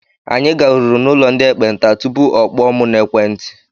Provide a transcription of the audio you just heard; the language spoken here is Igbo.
Anyị garuru n'ụlọ ndị ekpenta tupu ọ kpọọ mụ n'ekwenti.